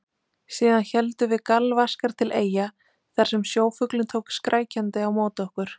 Síðan héldum við galvaskar til Eyja þar sem sjófuglinn tók skrækjandi á móti okkur.